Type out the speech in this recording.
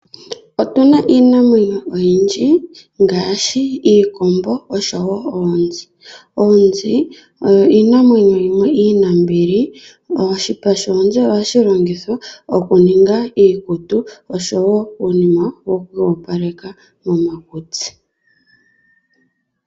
Otuna iinamwenyo oyindji ngaashi iikombo, osho woo oonzi. Oonzi oyo iinamwenyo yimwe iinambili. Oshipa shonzi oha shi longithwa okuninga iikutu, osho uunima wo ku iyopaleka momakutsi.